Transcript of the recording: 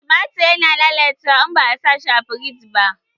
Tumatir ya na lallacewa in ba a sa a firiji ba